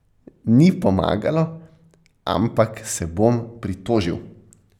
Ni pomagalo, ampak se bom pritožil.